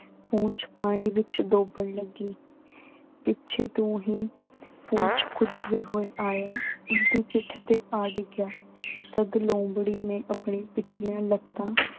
ਪੂਛ ਪਾਣੀ ਵਿੱਚ ਡੋਬਣ ਲੱਗੀ। ਪਿੱਛੇ ਤੋਂ ਹੀ ਕੁੱਦਦੇ ਹੋਏ ਆਇਆ, ਉਸਦੀ ਪਿੱਠ ਤੇ ਆ ਡਿੱਗਿਆ। ਤਦ ਲੂੰਬੜੀ ਨੇ ਆਪਣੀਆਂ ਪਿਛਲੀਆਂ ਲੱਤਾਂ